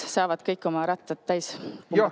Saavad kõik oma ratta kummid täis pumbata.